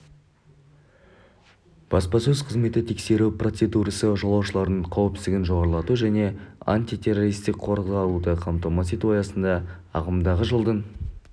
баспасөз қызметі тексеру процедурасы жолаушылардың қауіпсіздігін жоғарлату және антитеррористік қорғалуды қамтамасыз ету аясында ағымдағы жылдың